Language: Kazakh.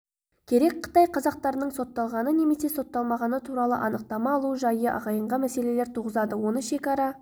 керек қытай қазақтарының сотталғаны немесе сотталмағаны туралы анықтама алу жайы ағайынға мәселелер туғызады оны шекара